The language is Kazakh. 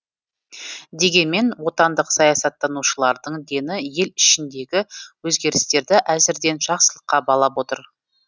дегенмен отандық саясаттанушылардың дені ел ішіндегі өзгерістерді әзірден жақсылыққа балап отыр